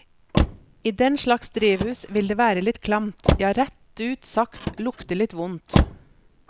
I denslags drivhus, vil det være litt klamt, ja rett ut sagt lukte litt vondt.